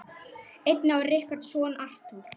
Einnig á Richard soninn Arthur.